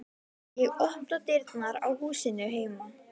Ég opna dyrnar á húsinu heima.